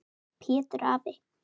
Pétur afi.